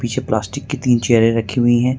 पीछे प्लास्टिक की तीन चेयरे रखी हुई है।